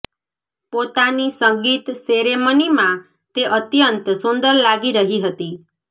પોતાની સંગીત સેરેમનીમાં તે અત્યંત સુંદર લાગી રહી હતી